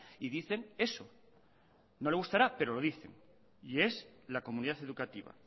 y dicen eso no le gustará pero lo dice y es la comunidad educativa